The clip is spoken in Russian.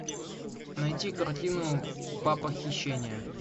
найти картину папа хищения